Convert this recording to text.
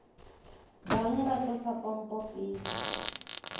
bang ba tlosa pompo pele